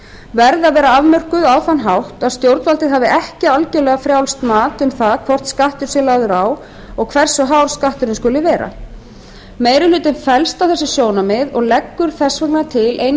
verði að vera afmörkuð á þann hátt að stjórnvaldið hafi ekki algerlega frjálst mat um það hvort skattur sé lagður á og hversu hár skatturinn skuli vera meiri hlutinn fellst á þessi sjónarmið og leggur þess vegna til eina